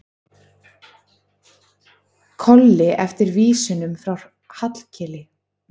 Kolli eftir vísunum frá Hallkeli.